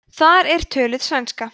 þar er töluð sænska